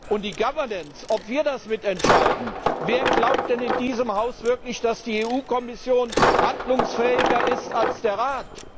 Zur Governance, ob wir das mitentscheiden Wer glaubt denn in diesem Haus wirklich, dass die EU Kommission handlungsfähiger ist als der Rat?